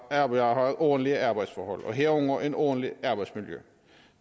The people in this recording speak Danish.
arbejdere har ordentlige arbejdsforhold og herunder et ordentligt arbejdsmiljø